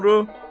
Doğru.